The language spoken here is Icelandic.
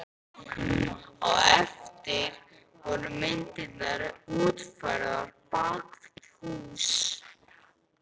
Á eftir voru myndirnar útfærðar bak við hús.